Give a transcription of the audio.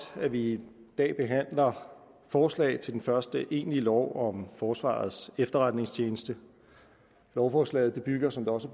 at vi i dag behandler forslag til den første egentlige lov om forsvarets efterretningstjeneste lovforslaget bygger som det også